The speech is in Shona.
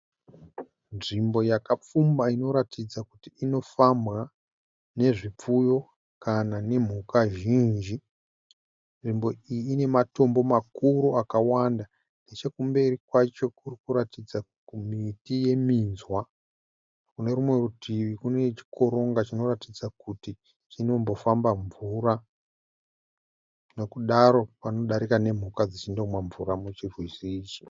Nzvimbo yakapfumba inoratidza kuti inofambwa nezvipfuyo kana nemhuka zhinji. Nzvimbo iyi inematombo makuru akawanda. Nechekumberi kwacho kuri kuratidza miti yeminzwa. Kunerumwe rutivi kune chikoronga chinoratidza kuti chinombofamba mvura. Nekudaro panodarika nemhuka dzichindomwa mvura muchirwizi ichi.